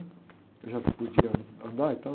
Eu já podia andar e tal.